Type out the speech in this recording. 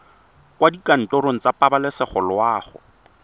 kwa dikantorong tsa pabalesego loago